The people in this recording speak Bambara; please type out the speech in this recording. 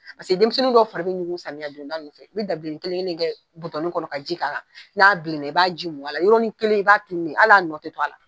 denmisɛnnin dɔw fari bɛ ɲugu samiyɛ donda ninnu fɛ i bɛ dabilennin kelen kelen in kɛ kɔnɔ ka ji k'akan n'a bilenna i b'a ji mun a la yɔrɔnin kelen i b'a tununen ye al'a nɔ tɛ to a la.